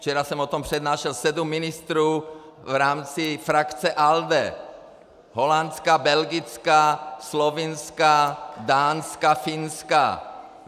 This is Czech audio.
Včera jsem o tom přednášel sedmi ministrům v rámci frakce ALDE - holandská, belgická, slovinská, dánská, finská.